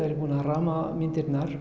er ég búin að ramma myndirnar